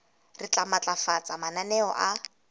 re tla matlafatsa mananeo a